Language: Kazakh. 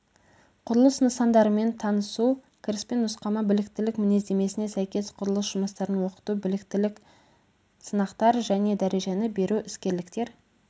құрылыс нысандарымен танысу кіріспе нұсқама біліктілік мінездемесіне сәйкес құрылыс жұмыстарын оқыту біліктілік сынақтар және дәрежені беру іскерліктер